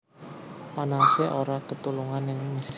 Panase ora ketulungan ning Mesir